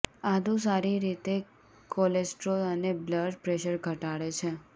આદુ સારી રીતે કોલેસ્ટ્રોલ અને બ્લડ પ્રેશર ઘટાડે છે